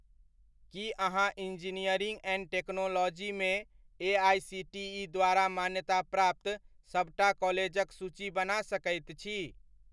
की अहाँ engineering and टेक्नोलॉजीमे AICTE द्वारा मान्यताप्राप्त सबटा कॉलेजक सूची बना सकैत छी?